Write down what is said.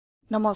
নমস্কাৰ